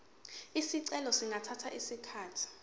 izicelo zingathatha isikhathi